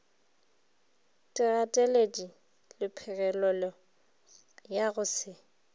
digateledi lephegelelo ya go se